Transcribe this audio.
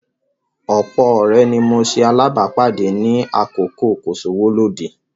Ọ̀pọ̀ ọ̀rẹ́ ni mo ṣe alábàápàdé ní àkókò kò-sówó-lóde